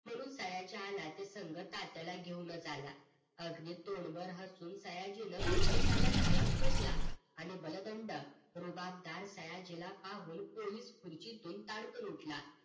म्हणून सयाजी आला ते संग खात्याला घेऊन च आला अगदी पोटभर हसून सयाजीन पोलिसाला सलाम ठोकला आणि बलदंड रुबाबदार सयाजीला पाहून पोलीस खुर्चीतून ताडकन उठला